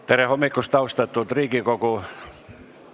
Tere hommikust, austatud Riigikogu!